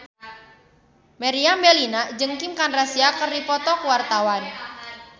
Meriam Bellina jeung Kim Kardashian keur dipoto ku wartawan